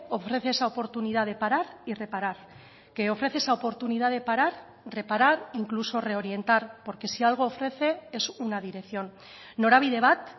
ofrece esa oportunidad de parar y reparar que ofrece esa oportunidad de parar reparar incluso reorientar porque si algo ofrece es una dirección norabide bat